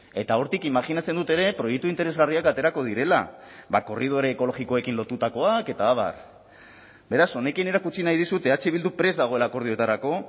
eta hortik imajinatzen dut ere proiektu interesgarriak aterako direla korridore ekologikoekin lotutakoak eta abar beraz honekin erakutsi nahi dizut eh bildu prest dagoela akordioetarako